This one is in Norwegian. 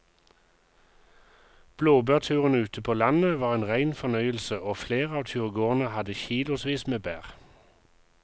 Blåbærturen ute på landet var en rein fornøyelse og flere av turgåerene hadde kilosvis med bær.